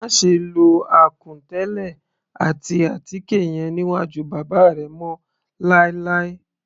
Máṣe lo àkùn tẹ́lẹ̀ àti àtíkè yẹn níwájú bàbá rẹ mọ́ láì láì.